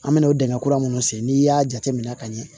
An me n'o dingɛ kura minnu sen n'i y'a jateminɛ ka ɲɛ